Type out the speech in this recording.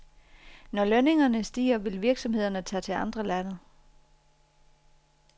Når lønningerne stiger, vil virksomhederne tage til andre lande.